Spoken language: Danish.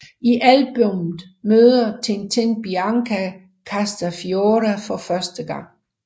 I albummet møder Tintin Bianca Castafiore for første gang